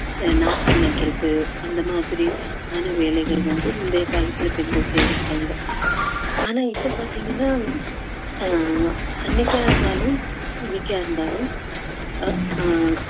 அஹ் நாத்து நடுவது அந்த மாதிரி ஆன வேலைகள் வந்து முந்தைய காலத்தில் பெண்கள் செய்திருக்காங்க ஆனா இப்போ பாத்தீங்கன்னா ஆஹ் அன்னைக்கா இருந்தாலும் இன்னைக்கா இருந்தாலும் அஹ்